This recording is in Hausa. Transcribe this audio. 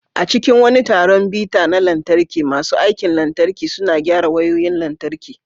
A cikin wani taron bita na lantarki, masu aikin lantarki suna gyara wayoyin lantarki.